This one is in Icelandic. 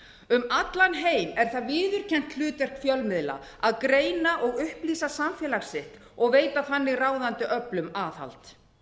um allan heim er það viðurkennt hlutverk fjölmiðla að greina og upplýsa samfélag sitt og veita þannig ráðandi öflum aðhald